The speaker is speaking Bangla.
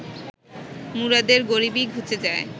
মুরাদের গরিবি ঘুচে যায়